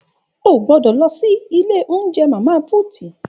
Ògbõdõ lõsí ìlé ounjé Mama puti